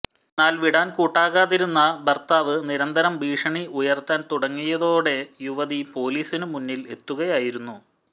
എന്നാൽ വിടാൻ കൂട്ടാക്കാതിരുന്ന ഭർത്താവ് നിരന്തരം ഭീഷണി ഉയർത്താൻ തുടങ്ങിയതോടെ യുവതി പോലീസിന് മുന്നിൽ എത്തുകയായിരുന്നു